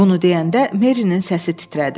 Bunu deyəndə Merinin səsi titrədi.